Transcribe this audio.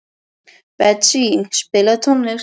Betsý, spilaðu tónlist.